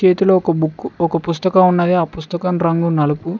చేతిలో ఒక బుక్కు ఒక పుస్తకం ఉన్నది ఆ పుస్తకం రంగు నలుపు.